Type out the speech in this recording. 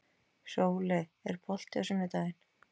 Sóley, er bolti á sunnudaginn?